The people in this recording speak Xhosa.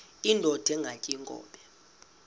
indod ingaty iinkobe